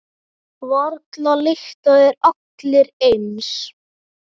Varla lykta þeir allir eins.